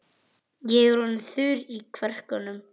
Ég er orðinn þurr í kverkunum.